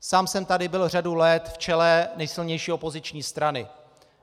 Sám jsem tady byl řadu let v čele nejsilnější opoziční strany.